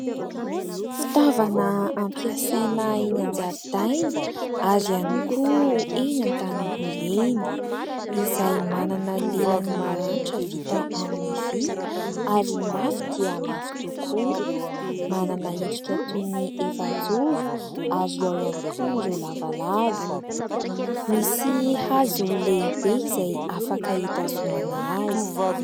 Fitaovana ampiasaina eny an-jaridaina ary ihany koa eny an-tanimboly eny. Izay manana lelan'ny maranitra vita amin'ny vy ary mafy dia mafy tokoa. Manana endrika toy ny efajoro ary ao ihany koa ireo lavalava. Misy hazo lehibe izay afaka hitazomana azy.